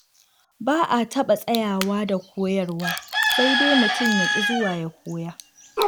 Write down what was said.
Ba a taɓa tsayawa da koyarwa sai dai mutum ya ƙi zuwa ya koya.